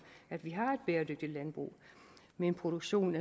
at vi har et bæredygtigt landbrug med en produktion